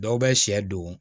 Dɔw bɛ sɛ don